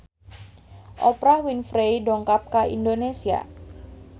Oprah Winfrey dongkap ka Indonesia